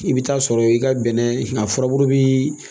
I bɛ taa sɔrɔ i ka bɛnɛ a furabulu bi